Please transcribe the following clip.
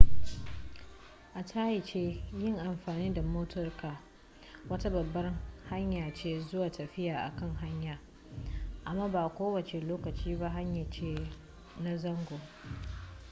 a takaice yin amfani da motarka wata babbar hanya ce zuwa tafiya a kan hanya amma ba ko wace lokaci ba hanya ce na zango